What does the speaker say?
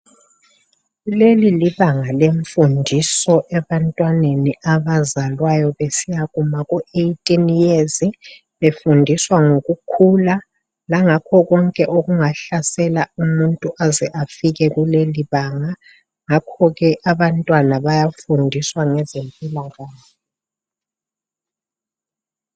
Leli libanga lenfundiso ebantwaneni abazalwayo besiya kuma ku 18years. Befundiswa ngokukhula langakho konke okungahlasela umuntu aze afike kuleli banga. Ngakhokhe abantwana bayafundiswa ngezempilakahle.